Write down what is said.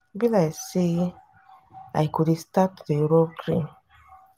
e be like say i go dey start to dey rub cream.